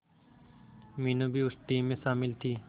मीनू भी उस टीम में शामिल थी